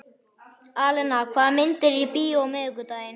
Alena, hvaða myndir eru í bíó á miðvikudaginn?